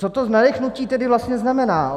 Co to nadechnutí tedy vlastně znamená?